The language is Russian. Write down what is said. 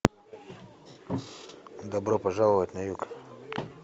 добро пожаловать на юг